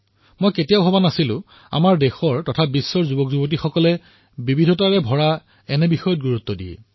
মইও কেতিয়াও ভবা নাছিলো যে আমাৰ দেশৰ আৰু বিশ্বৰ তৰুণসকল কিমান বিবিধতা ভৰা বস্তুৰ প্ৰতি গুৰুত্ব দিয়ে